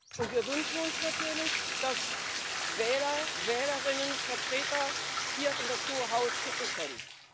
Und wir wünschen uns natürlich, dass Wähler und Wählerinnen Vertreter hier in das hohe Haus schicken können.